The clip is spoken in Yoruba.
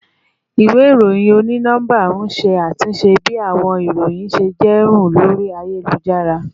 Iwe iroyin oni nọmba n ṣe atunṣe bi awọn iroyin ṣe jẹ run lori ayelujara